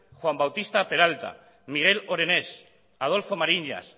juan bautista peralta miguel orenés adolfo mariñas